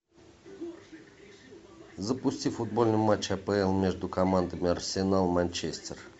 запусти футбольный матч апл между командами арсенал манчестер